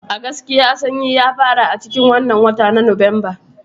A gaskiya Sannyi ya fara a cikin wannan watan na Nuwamba